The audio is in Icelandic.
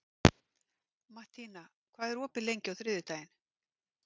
Mattína, hvað er opið lengi á þriðjudaginn?